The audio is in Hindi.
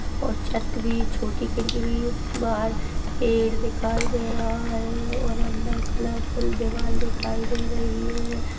और छत्त भी छोटी खिड़की भी बाहर पेड़ दिखाई दे रहा है और अंदर कलरफ़ुल दीवाल दिखाई दे रही है। ]